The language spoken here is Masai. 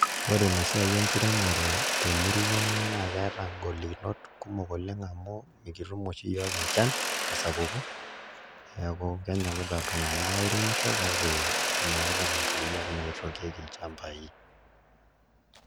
Ore ina siai enkiremore temurua ang' naa keeta ngolikinot kumok oleng' amu mikitum oshi iyiook enchan tesapuko neeku kenyokita iltung'anak airemisho kake meetai nkariak naitookieki ilchambai.